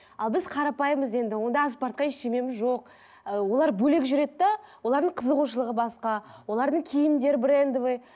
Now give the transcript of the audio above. ал біз қарапайымбыз енді одан асып бара жатқан ештеңемем жоқ ы олар бөлек жүреді де олардың қызығушылығы басқа олардың киімдері брендовый